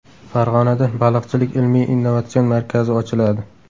Farg‘onada Baliqchilik ilmiy-innovatsion markazi ochiladi.